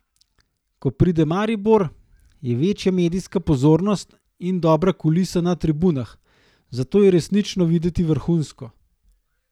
Ko pride Maribor, je večja medijska pozornost in dobra kulisa na tribunah, zato je resnično videti vrhunsko.